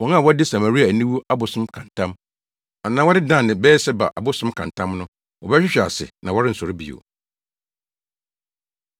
Wɔn a wɔde Samaria aniwu abosom ka ntam, anaa wɔde Dan ne Beer-Seba abosom ka ntam no, wɔbɛhwehwe ase na wɔrensɔre bio.”